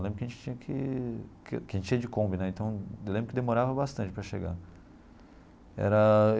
Eu lembro que a gente tinha que que a gente ia de Kombi né, então eu lembro que demorava bastante para chegar era.